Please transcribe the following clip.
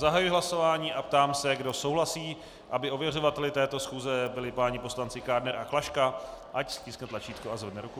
Zahajuji hlasování a ptám se, kdo souhlasí, aby ověřovateli této schůze byli páni poslanci Kádner a Klaška, ať stiskne tlačítko a zvedne ruku.